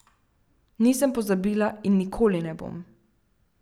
Nisem pozabila in nikoli ne bom.